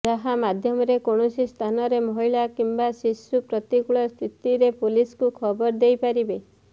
ଯାହା ମାଧ୍ୟମରେ କୌଣସି ସ୍ଥାନରେ ମହିଳା କିମ୍ବା ଶିଶୁ ପ୍ରତିକୂଳ ସ୍ଥିତିରେ ପୋଲିସକୁ ଖବର ଦେଇ ପାରିବେ